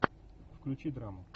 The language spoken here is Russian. включи драму